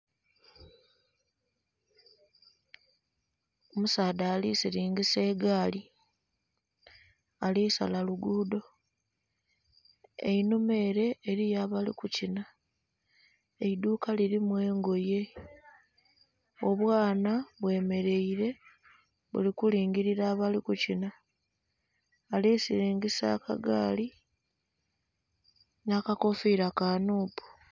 Omusaadha alisiringisa egaali alisala lugudho einhuma ere eriyo abalikukinha, eiduuka lirimu engoye, obwaana bemereire buli kulingira abali kukinha balisiringisa akagaali nha akakofiira ka "NUP".